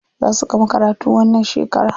Za su gama karatu wannan shekara.